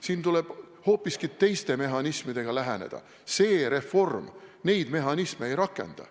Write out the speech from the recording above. Siin tuleb teisi mehhanisme kasutada, aga see reform teisi mehhanisme ei rakenda.